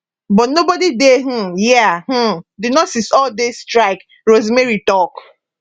but nobody dey um hia um di nurses all dey strike rosemary tok